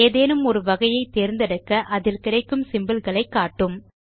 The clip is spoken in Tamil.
ஏதேனும் ஒரு வகையை தேர்ந்தெடுக்க அதில் கிடைக்கும் சிம்போல் களை காட்டும்